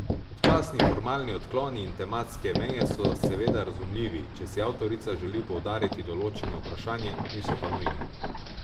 Občasni formalni odkloni in tematske meje so seveda razumljivi, če si avtorica želi poudariti določeno vprašanje, niso pa nujni.